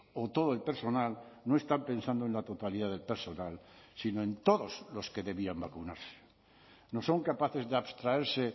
o todo el personal no están pensando en la totalidad del personal sino en todos los que debían vacunarse no son capaces de abstraerse